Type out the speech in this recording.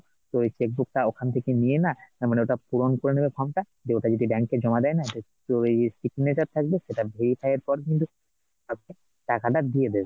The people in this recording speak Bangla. তোর ওই cheque book টা ওখান থেকে নিয়ে না ও মানে ওটা পূরণ করে নেবে form টা দিয়ে ওটা যদি bank এ জমা দেয়না, তোর ওই signature থাকবে সেটা verify এর পর কিন্তু কাকুকে টাকাটা দিয়ে দেবে